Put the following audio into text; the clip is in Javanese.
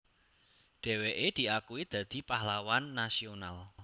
Dheweke diakui dadi Pahlawan Nasional